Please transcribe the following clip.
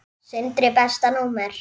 Sindri Besta númer?